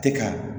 Tɛ ka